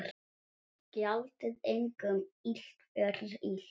Gjaldið engum illt fyrir illt.